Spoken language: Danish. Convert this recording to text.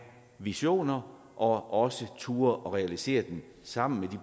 visioner og også turde realisere dem sammen med